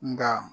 Nga